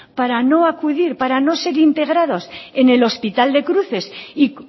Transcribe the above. para no acudir